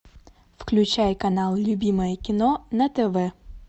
включай канал любимое кино на тв